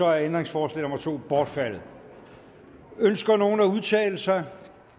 er ændringsforslag nummer to bortfaldet ønsker nogen at udtale sig